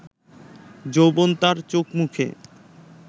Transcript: যৌবন তাঁর চোখ-মুখে